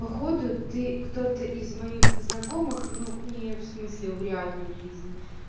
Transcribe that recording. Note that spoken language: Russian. походу ты кто-то из моих знакомых но не в смысле в реальной жизни